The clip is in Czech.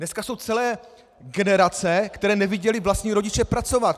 Dneska jsou celé generace, které neviděly vlastní rodiče pracovat!